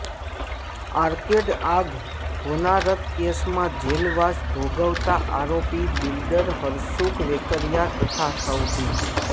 arcade આગ હોનારત કેસમાં જેલવાસ ભોગવતા આરોપી બિલ્ડર હરસુખ વેકરીયા તથા સવજી